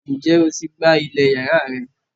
Ǹjẹ́ o ti gbá ilẹ̀ yàrá rẹ